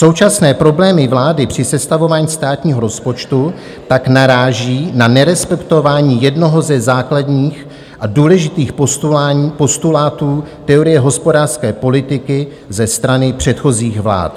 Současné problémy vlády při sestavování státního rozpočtu tak naráží na nerespektování jednoho ze základních a důležitých postulátů teorie hospodářské politiky ze strany předchozích vlád.